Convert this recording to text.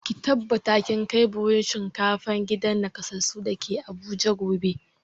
Ki tabbata kin kai buhun shinkafa gidan nakasassun da ke Abuja gobe!